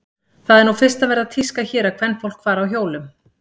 Það er nú fyrst að verða tíska hér að kvenfólk fari á hjólum.